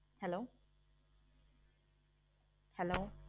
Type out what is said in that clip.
hello hello